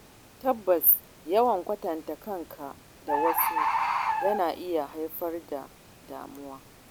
Tabbas Yawan kwatanta kanka da wasu yana iya haifar da damuwa.